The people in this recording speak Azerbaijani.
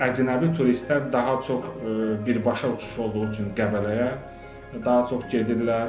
Əcnəbi turistlər daha çox birbaşa uçuş olduğu üçün Qəbələyə daha çox gedirlər.